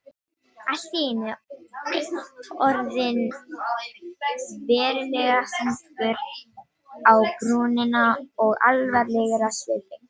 Allt í einu orðinn verulega þungur á brúnina og alvarlegur á svipinn.